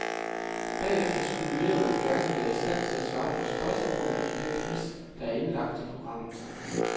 Bagefter skulle eleverne gerne være i stand til at svare på spørgsmålene i den quiz, der er indlagt i programmet.